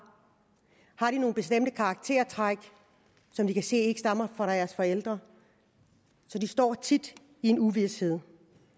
har de nogle bestemte karaktertræk som de kan se ikke stammer fra deres forældre de står tit i en uvished